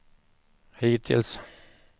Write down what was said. hittills